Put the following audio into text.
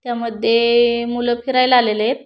त्यामध्ये मूल फिरायला आलेले येत.